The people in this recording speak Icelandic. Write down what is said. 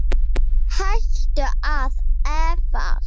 Hættu að efast!